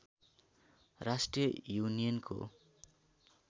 राष्ट्रिय युनियनको